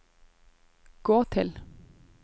gå til